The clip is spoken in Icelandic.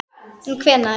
En hvenær?